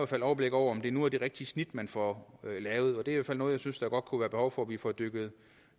fald overblik over om det nu er det rigtige snit man får lavet og det er fald noget jeg synes der godt kunne være behov for vi får dykket